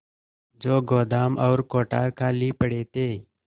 जो गोदाम और कोठार खाली पड़े थे